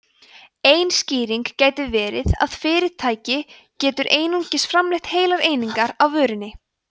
ein skýring gæti verið að fyrirtæki getur einungis framleitt heilar einingar af vörunni